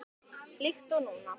Líkt og núna.